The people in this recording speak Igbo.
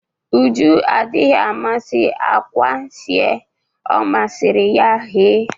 Uju adịghị amasị àkwá sie ọ masịrị ya eghe